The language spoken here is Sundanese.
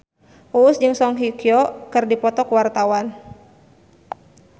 Uus jeung Song Hye Kyo keur dipoto ku wartawan